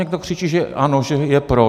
Někdo křičí, že ano, že je pro.